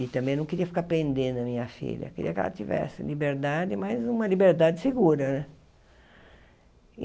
E também não queria ficar prendendo a minha filha, queria que ela tivesse liberdade, mas uma liberdade segura né.